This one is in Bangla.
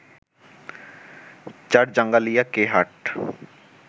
চরজাঙ্গালিয়া কে হাট